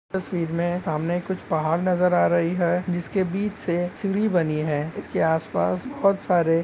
तस्वीर में सामने कुछ पहाड़ नजर आ रही है जिसके बीच से सीढ़ी बनी है इसके आसपास बहुत सारे--